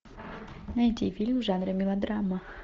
найти фильм в жанре мелодрама